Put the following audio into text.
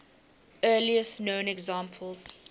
earliest known examples